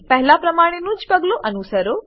પહેલા પ્રમાણેનું જ પગલું અનુસરો